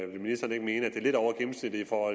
ministeren ikke mene at det er lidt over gennemsnittet for